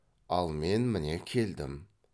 ал мен міне келдім